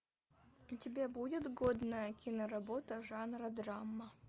у тебя будет годная киноработа жанра драма